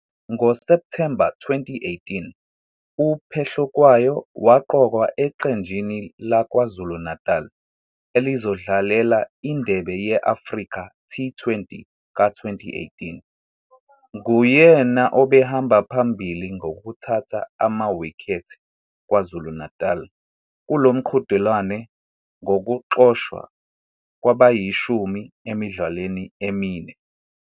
NgoSepthemba 2018, uPhehlukwayo waqokwa eqenjini laKwaZulu-Natal elizodlalela iNdebe ye-Africa T20 ka-2018. Nguyena obehamba phambili ngokuthatha ama-wicket KwaZulu-Natal kulo mqhudelwano, ngokuxoshwa kwabayishumi emidlalweni emine.